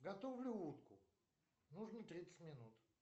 готовлю утку нужно тридцать минут